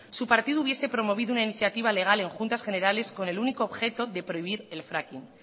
su partido hubiese promovido una iniciativa legal en juntas generales con el único objetivo de prohibir el fracking